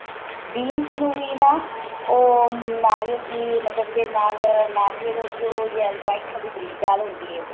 beans ਨੂੰ ਵੀ ਨਾ ਉਹ ਨਾਰੀਅਲ ਦੀ ਮਤਲਬ ਜੇ ਨਾਲ ਨਾਰੀਅਲ ਜੋ white ਵਾਲੀ ਬਰੀਕ ਦਾਲ ਹੁੰਦੀ ਏ